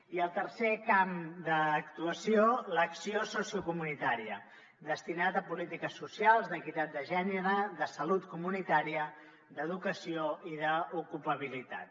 i el tercer camp d’actuació l’acció sociocomunitària destinada a polítiques socials d’equitat de gènere de salut comunitària d’educació i d’ocupabilitat